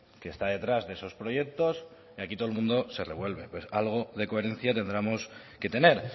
que está detrás de esos proyectos y aquí todo el mundo se revuelve pues algo de coherencia tendremos que tener